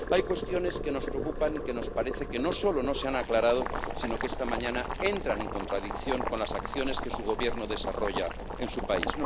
Hay cuestiones que nos preocupan y que nos parece que no solo no se han aclarado, sino que esta mañana entran en contradicción con las acciones que su Gobierno desarrolla en su país.